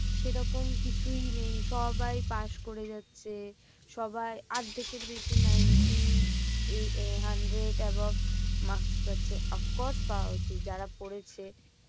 সেরকম কিছুই নেই সবাই পাস করে যাচ্ছে। সবাই অর্ধেকের বেশি ninty uh hundred above marks পাচ্ছে। of course পাওয়া উচিত যারা পড়েছে।